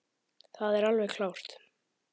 Það er alveg klárt.